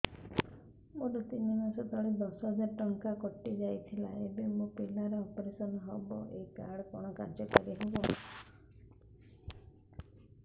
ମୋର ତିନି ମାସ ତଳେ ଦଶ ହଜାର ଟଙ୍କା କଟି ଯାଇଥିଲା ଏବେ ମୋ ପିଲା ର ଅପେରସନ ହବ ଏ କାର୍ଡ କଣ କାର୍ଯ୍ୟ କାରି ହବ